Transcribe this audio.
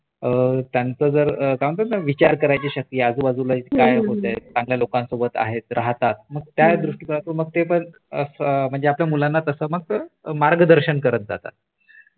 त्यांच जर पण काय म्हणतात ना विचार करायची शक्ती आजूबाजूला काय होतय चांगल्या लोंकासोबत आहेत राहतात मग त्या दृष्टीकोनातून मग ते पण आपल्या मुलाना तस मग मार्गदर्शन करत जातात